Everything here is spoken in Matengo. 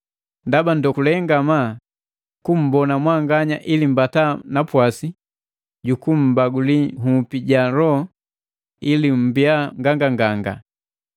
Ndaba ndokule ngamaa kummbona mwanganya ili mbata napwasi juku mmbaguli nhupi ja loho ili mmbia nganganganga.